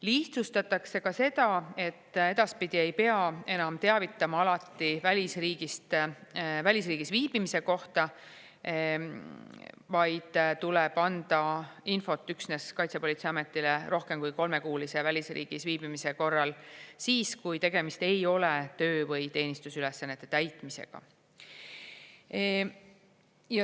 Lihtsustatakse ka seda, et edaspidi ei pea enam teavitama alati välisriigis viibimise kohta, vaid tuleb anda infot üksnes Kaitsepolitseiametile rohkem kui kolmekuulise välisriigis viibimise korral, siis, kui tegemist ei ole töö- või teenistusülesannete täitmisega.